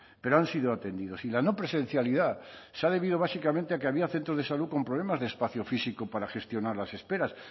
pero han sido atendidos y la no presencialidad se ha debido básicamente a que había centros de salud con problemas de espacio físico para gestionar las espera